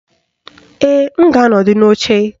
Ee, m ga-anọdụ n'oche